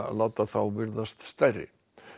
láta þá virðast stærri